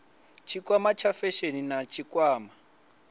tshikwama tsha phesheni na tshikwama